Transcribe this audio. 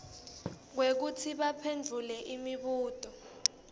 kwekutsi baphendvule imibuto